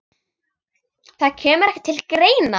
Það kemur ekki til greina.